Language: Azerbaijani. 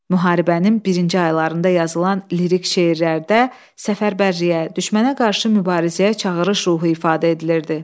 Müharibənin birinci aylarında yazılan lirik şeirlərdə səfərbərliyə, düşmənə qarşı mübarizəyə çağırış ruhu ifadə edilirdi.